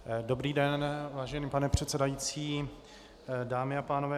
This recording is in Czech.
Dobrý den, vážený pane předsedající, dámy a pánové.